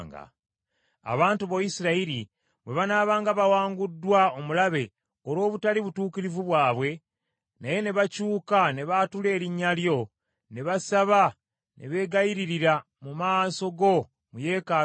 “Abantu bo Isirayiri bwe banaabanga bawanguddwa omulabe olw’obutali butuukirivu bwabwe, naye ne bakyuka ne baatula erinnya lyo, ne basaba ne beegayiririra mu maaso go mu yeekaalu eno,